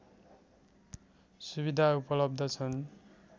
सुविधा उपलब्ध छन्